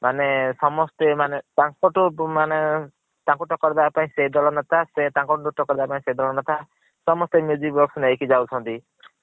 ମାନେ ସମସ୍ତେ ମାନେ ତାନକଠୁ ମାନେ ତାଙ୍କୁ ତକକର୍ ଦବା ପାଇଁ ସେ ଦଳ ନେତା ତାଙ୍କ ଠୁ ତକକର୍ ଦବା ପାଇଁ ସେ ଦଳ ନେତା ସମସ୍ତେ box ନେଇକି ଯାଉଛନ୍ତି।